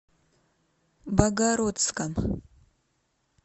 богородском